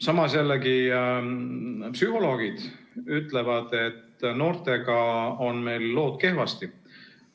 Samas ka psühholoogid ütlevad, et noortega on meil lood kehvasti.